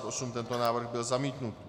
Tento návrh byl zamítnut.